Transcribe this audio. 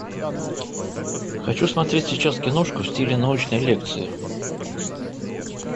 хочу смотреть сейчас киношку в стиле научной лекции